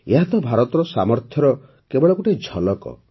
ଏହା ତ ଭାରତର ସାମର୍ଥ୍ୟର କେବଳ ଗୋଟିଏ ଝଲକ୍